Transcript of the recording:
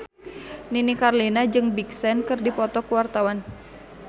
Nini Carlina jeung Big Sean keur dipoto ku wartawan